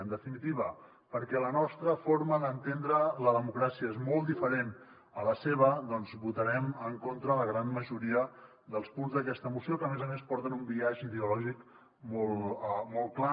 en definitiva perquè la nostra forma d’entendre la democràcia és molt diferent a la seva doncs votarem en contra de la gran majoria dels punts d’aquesta moció que a més a més porten un biaix ideològic molt clar